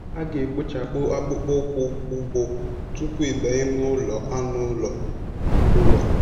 A ga-ekpochapụ akpụkpọ ụkwụ ugbo tupu ị banye n'ụlọ anụ ụlọ. ụlọ.